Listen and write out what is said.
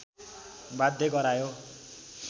बाध्य गरायो